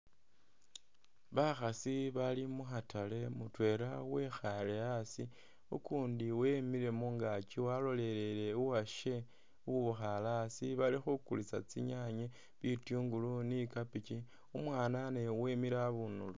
Bakhaasi bali mu khatale mutwela wekhaale asi, ukundi wemile mungaaki walolelele uwasye uwikhaale asi bali khukulisa tsinyaanye, bitungulu ni cabbage, umwaana naye wemile abunulo.